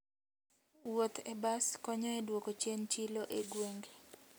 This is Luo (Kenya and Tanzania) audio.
Wuoth e bas konyo e duoko chien chilo e gwenge.